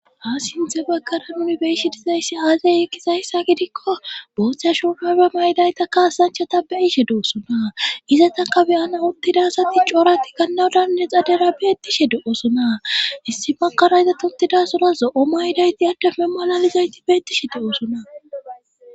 ha sinthe bakara unibeyishe dizayssi aazey eqkizayssa gidikko booththa shofaba maydayta kaasanchata beyishe doosona iza taka beyana uttidasati coorati gannawudanne xadera beettishe de7osona issi bakara yza tottidasora zo7o maydayti addememalalizayti beettishe de7osona